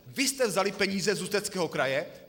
Vy jste vzali peníze z Ústeckého kraje.